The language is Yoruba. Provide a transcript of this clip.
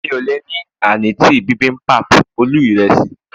mi o le ni anıtı bimbimbap ölü iresi